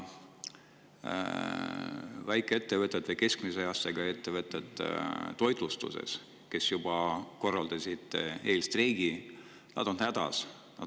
Väikesed ja keskmised toitlustusettevõtted juba korraldasid eelstreigi, nad on hädas.